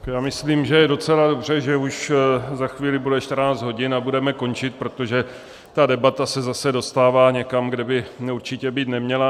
Já myslím, že je docela dobře, že už za chvíli bude 14 hodin a budeme končit, protože ta debata se zase dostává někam, kde by určitě být neměla.